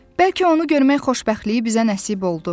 Bəlkə onu görmək xoşbəxtliyi bizə nəsib oldu.